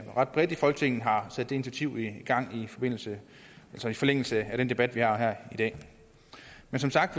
ret bredt i folketinget har sat det initiativ i gang i forlængelse i forlængelse af den debat vi har her i dag men som sagt